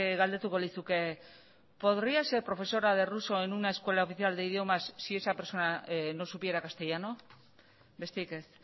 galdetuko lizuke podría ser profesora de ruso en una escuela oficial de idiomas si esa persona no supiera castellano besterik ez